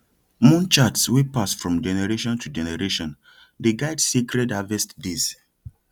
moon charts wey pass from generation to generation dey guide sacred harvest days